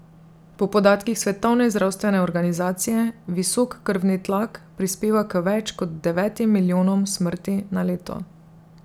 Po podatkih Svetovne zdravstvene organizacije visok krvni tlak prispeva k več kot devetim milijonom smrti na leto.